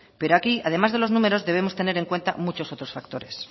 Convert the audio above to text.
pero aquí además de los números debemos tener en cuenta muchos otros factores